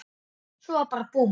Svo bara búmm.